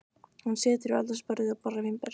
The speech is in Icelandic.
Hún situr við eldhúsborðið og borðar vínber.